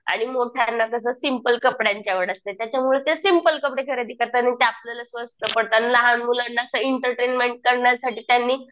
आणि मोठ्यानं कसं सिंपल कपड्यांची आवड असते. त्याच्यामुळे ते सिंपल कपडे खरेदी करतात. आणि ते आपल्याला स्वस्त पडतात. लहान मुलांना असं इंटरटेन्मेन्ट करण्यासाठी त्यांनी